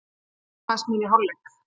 Ég skammaðist mín í hálfleik.